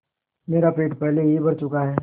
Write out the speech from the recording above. मेरा पेट पहले ही भर चुका है